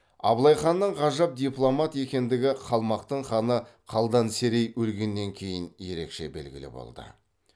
абылай ханның ғажап дипломат екендігі қалмақтың ханы қалдан серей өлгеннен кейін ерекше белгілі болды